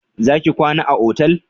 Za ki kwana a otal?